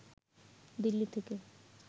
দিল্লি থেকে